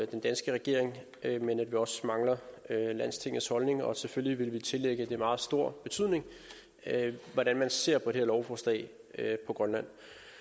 den danske regering men at vi også mangler landstingets holdning og selvfølgelig vil tillægge det meget stor betydning hvordan man ser på det her lovforslag på grønland